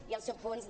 i els subpunts de